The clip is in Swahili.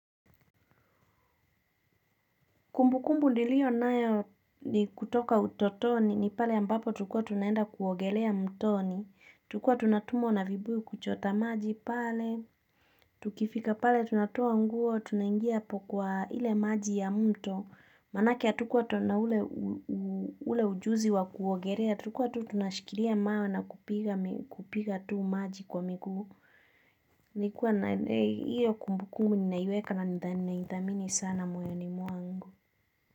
Kumbukumbu nilio nayo ni kutoka utotoni ni pale ambapo tulikua tunaenda kuogelea mtoni, tulikua tunatumwa na vibuyu kuchota maji pale, tukifika pale tunatoa nguo, tunaingia apo kwa ile maji ya mto, manake hatukuwa na ule ule ujuzi wa kuogelea, tulikua tu tunashikilia mawe na kupiga tu maji kwa miguu. Nilikuwa na iyo kumbukumbu ninaiweka na ninaidhamini sana moyoni mwangu.